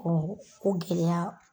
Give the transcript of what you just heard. Ɔ o gɛlɛya